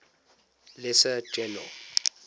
lesser general